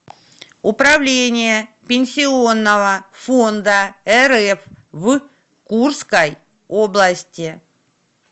управление пенсионного фонда рф в курской области